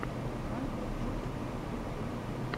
майкл джуксон в ютьюбе